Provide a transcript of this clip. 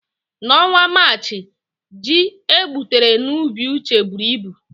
N'ọnwa Maachị, ji egbutere n'ubi Uche buru ibu.